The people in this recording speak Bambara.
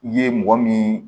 I ye mɔgɔ min